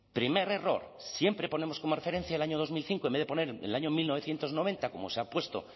primer error siempre ponemos como referencia el año dos mil cinco en vez de poner el año mil novecientos noventa como se ha puesto